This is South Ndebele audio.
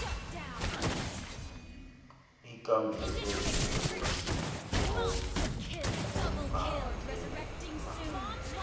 ikambiso yesiko kubangela